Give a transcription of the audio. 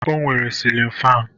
O nwere silin fan.